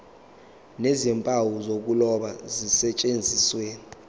nezimpawu zokuloba zisetshenziswe